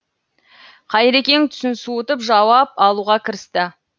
қайрекең түсін суытып жауап алуға кірісті